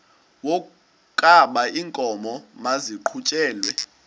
wokaba iinkomo maziqhutyelwe